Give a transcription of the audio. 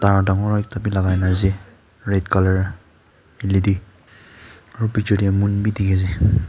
aru dagur ekta bhi lagai kina ase red colour led aru piche te moon bhi dekhi pai ase.